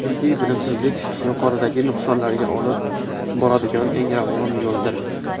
Chunki bilimsizlik yuqoridagi nuqsonlarga olib boradigan eng ravon yo‘ldir!.